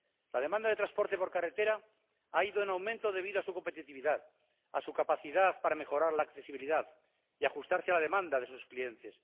La demanda de transporte por carretera ha ido en aumento debido a su competitividad, a su capacidad para mejorar la accesibilidad y ajustarse a la demanda de sus clientes.